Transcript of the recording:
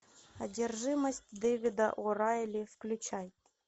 одержимость дэвида о райли включай